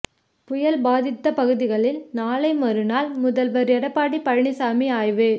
புயல் பாதித்த பகுதிகளில் நாளை மறுநாள் முதல்வர் எடப்பாடி பழனிச்சாமி ஆய்வு